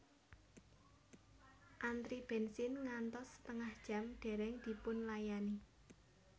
Antri bensin ngantos setengah jam dereng dipunlayani